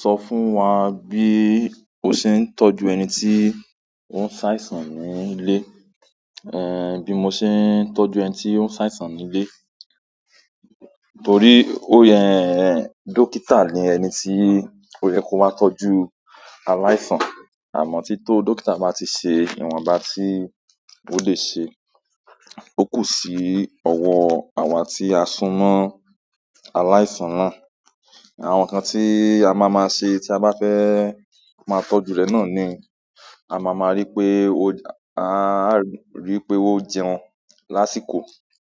Sọ fún wa bí o ṣe ń tọ́jú ẹni tí ó ń ṣe àìsàn nílé, eh bí mo ṣe ń tọ́jú ẹni tí ó ń ṣe àìsàn nílé. Torí ó yẹ, dókítà ni ẹni tí ó yẹ kó wá tọ́jú aláìsàn. Àmọ́ tí tó dókítà bá ti ṣe ìwọ̀n bá tí ó lè ṣe, ó kù sí ọwọ́ àwa tí a sunmọ́ aláìsàn náà. Àwọn nǹkan tí a máa máa ṣe tí a bá fẹ́ máa tọ́jú rẹ̀ náà ni, a máa máa rí pé ó-- a á rí pé ó jẹun lásìkò.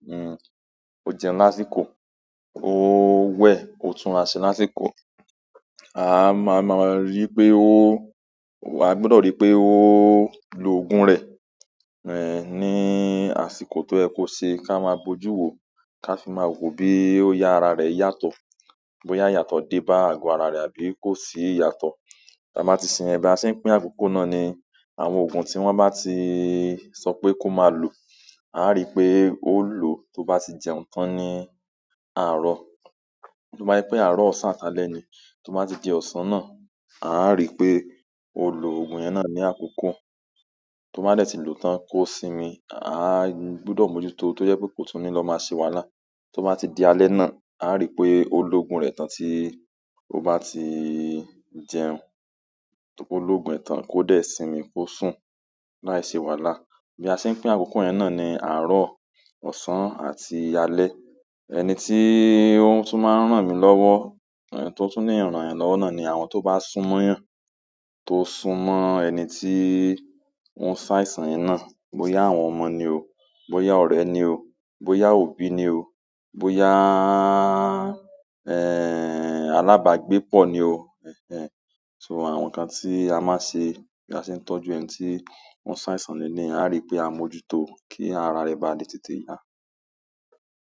Hmm, ó jẹun lásìkò, ó wẹ̀, ó tún ra ṣe lásìkò. A máa máa rí pé ó, a gbọdọ̀ rí pé ó lo òògùn rẹ̀, eh ní àsìkò tó ẹkú ṣe kí a máa bojú wò ká fi máa wo bí ó yá ara rẹ̀ yàtọ̀, bóyá yàtọ̀ dé bá àgọ́ ara rẹ̀ àbí kò sì yàtọ̀. Tí a bá ti sin ẹbí a sì pín àkókò náà ni àwọn òògùn tí wọ́n bá ti sọ pé kó máa lò, a á rí pé ó lò tó bá ti jẹun tán ní àárọ̀. Tó bá je pé àárọ̀, ọ̀sán, alẹ́ ni. Tó bá ti di ọ̀sán náà, a á rí pé ó lo òògùn yẹn náà ní àkókò. Tó bá dẹ̀ ti lò ó tán kó sinmi, a gbọdọ̀ mójútó tó yẹ pé kò tún ní lọ máa ṣe wàhálà. Tó bá ti di alẹ́ náà, a á rí pé ó lo òògùn rẹ̀ tán tí ó bá ti jẹun. Tó kó lo òògùn rẹ̀ tán kó dé sinmi kó sùn, láì ṣe wàhálà. Bí a ṣe ń pín àkókò yẹn náà ni àárọ̀, ọ̀sán àti alẹ́. Ẹni tí ó tún máa ń ràn mí lọ́wọ́, èh tó tún ní ìrànyam lọ́wọ́ náà ni àwọn tó bá sún mọ́yàn. To sun mo ẹni ti o se àìsàn yen náà boya àwọn ọmọ ni o, boya ọ̀rẹ́ ni o boya òbí ni o, boya en alabagbepo ni o, enehn, so àwọn nǹkan tí a máa nṣe bí a ṣe ń tọ́jú ẹni tí ó ń ṣàìsàn ni eleyi a rí pé a mójútó kí ara rẹ̀ bá tètè yà.